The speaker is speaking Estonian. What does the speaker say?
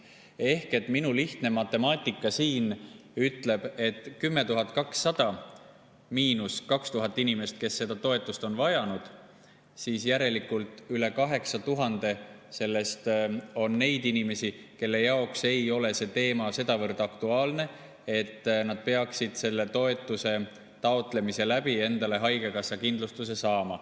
Ehk minu lihtne matemaatika ütleb, et kui 10 200‑st lahutada 2000 inimest, kes seda toetust on vajanud, siis järelikult on üle 8000 neid inimesi, kelle jaoks ei ole see teema sedavõrd aktuaalne, et nad peaksid selle toetuse taotlemise abil endale haigekassakindlustuse saama.